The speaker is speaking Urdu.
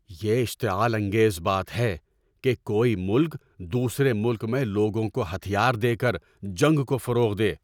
یہ اشتعال انگیز بات ہے کہ کوئی ملک دوسرے ملک میں لوگوں کو ہتھیار دے کر جنگ کو فروغ دے۔